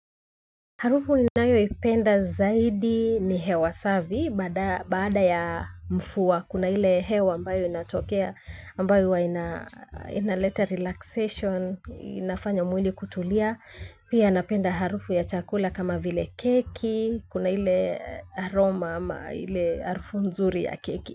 Harufu ninayo ipenda zaidi ni hewa savi baada ya mfuwa kuna hile hewa ambayo inatokea ambayo inaleta relaxation inafanya mwili kutulia. Pia napenda harufu ya chakula kama vile keki kuna hile aroma ama hile harufu nzuri ya keki.